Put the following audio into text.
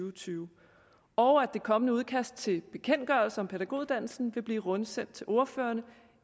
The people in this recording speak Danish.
og tyve og at det kommende udkast til bekendtgørelse om pædagoguddannelsen vil blive rundsendt til ordførerne